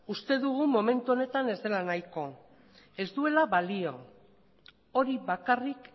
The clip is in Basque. uste dugu momentu honetan ez dela nahikoa ez duela balio hori bakarrik